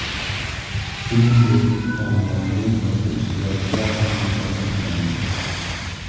Shuningdek, tanlovning boshqa ishtirokchilari ham mukofotlandi.